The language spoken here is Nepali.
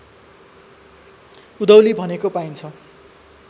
उधौली भनेको पाइन्छ